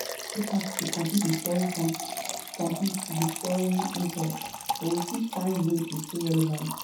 E dey very hard to compete with foreign compete with foreign imports, but we fit find ways to stay relevant.